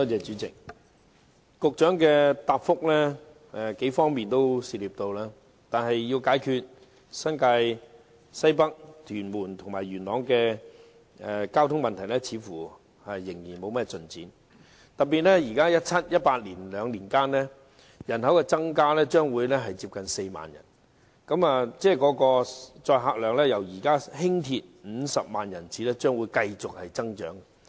主席，局長的主體答覆涉及數方面，但在解決新界西北、屯門和元朗的交通問題方面，似乎卻仍然沒有甚麼進展。特別是在2017年至2018年這兩年間，該區人口增加將會達到近4萬人，輕鐵的乘客量將會由現時的50萬人次繼續增長。